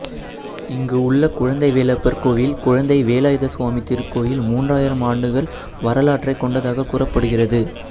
இங்கு உள்ள குழ்ந்தை வேலப்பர் கோவில் குழந்தை வேலாயுத சுவாமி திருக்கோவில் மூன்றாயிரம் ஆண்டுகள் வரலாற்றைக் கொண்டதாக கூறப்படுகிறது